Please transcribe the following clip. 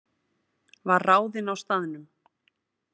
Var ráðinn á staðnum